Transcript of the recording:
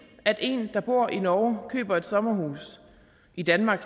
at en der bor i norge køber et sommerhus i danmark